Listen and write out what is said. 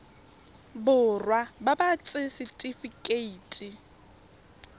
borwa ba ba ts setifikeite